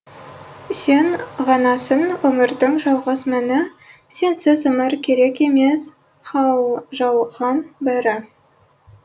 сен ғанасың өмірдің жалғыз мәні сенсіз өмір керек емес жалған бәрі